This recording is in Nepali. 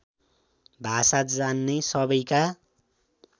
भाषा जान्ने सबैका